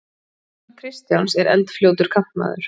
Gunnar Kristjáns er eldfljótur kantmaður.